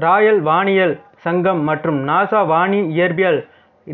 royal வானியல் சங்கம் மற்றும் நாசா வானியற்பியல்